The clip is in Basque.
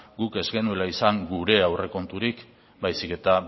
guk ez genuela izan gure aurrekonturik baizik eta